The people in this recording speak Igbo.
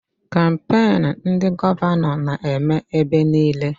Kampain ndị gọvanọ na-eme ebe niile